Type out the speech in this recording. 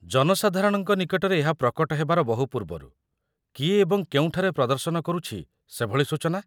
ଜନସାଧାରଣଙ୍କ ନିକଟରେ ଏହା ପ୍ରକଟ ହେବାର ବହୁ ପୂର୍ବରୁ କିଏ ଏବଂ କେଉଁଠାରେ ପ୍ରଦର୍ଶନ କରୁଛି ସେଭଳି ସୂଚନା?